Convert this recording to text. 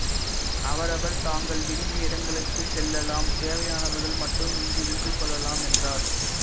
அவரவர் தாங்கள் விரும்பிய இடங்களுக்குச் செல்லலாம் தேவையானவர்கள் மட்டும் இங்கு இருந்து கொள்ளலாம் என்றார்